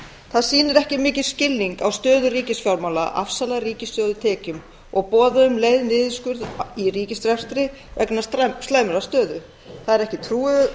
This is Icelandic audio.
það sýnir ekki mikinn skilning á stöðu ríkisfjármála að afsala ríkissjóði tekjum og boða um leið niðurskurð í ríkisrekstri vegna slæmrar stöðu það er ekki trúverðugt